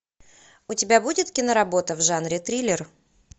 у тебя будет киноработа в жанре триллер